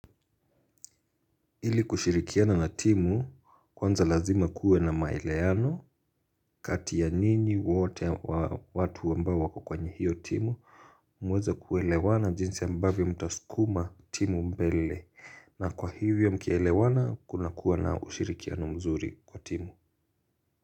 Ili kushirikiana na timu kwanza lazima kuwe na maelewano kati ya nyinyi wote watu ambao wako kwenye hiyo timu muweze kuelewana jinsi ambavyo mtasukuma timu mbele na kwa hivyo mkielewana kunakuwa na ushirikiano mzuri kwa timu.